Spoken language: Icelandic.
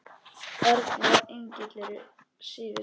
Erna og Engill eru síðust.